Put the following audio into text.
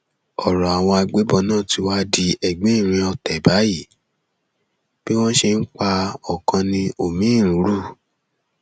ọrọ àwọn agbébọn náà tí wàá di ẹgbìnrin ọtẹ báyìí bí wọn ṣe ń pa ọkàn ni omiín ń rú